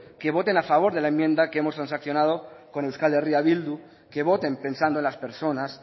que voten a favor de la enmienda que hemos transaccionado con euskal herria bildu que voten pensando en las personas